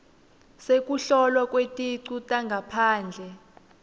sekuhlolwa kweticu tangaphandle